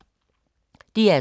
DR2